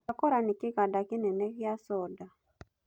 Cocacola nĩ kĩganda kĩnene kĩa coda.